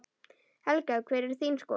Helga: Hver er þín skoðun?